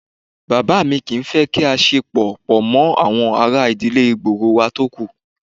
Bàbá mi kì í fẹ́ kí a ṣe pọ̀ pọ̀ mọ́ àwọn ará ìdílé gbòòrò wà tókù